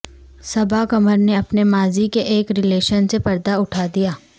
صبا قمر نے اپنے ماضی کے ایک ریلیشن سے پردہ اٹھا دیا